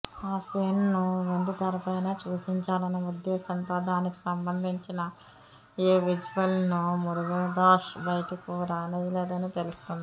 ఆ సీన్ ను వెండితెరపైనే చూపించాలన్న ఉద్దేశంతో దానికి సంబంధించిన ఏ విజువల్ నూ మురుగదాస్ బయటకు రానీయలేదని తెలుస్తోంది